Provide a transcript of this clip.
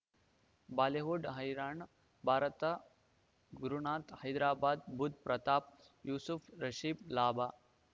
Bollywood ಹೈರಾಣ್ ಭಾರತ ಗುರುನಾಥ ಹೈದರಾಬಾದ್ ಬುಧ್ ಪ್ರತಾಪ್ ಯೂಸುಫ್ ರಿಷಬ್ ಲಾಭ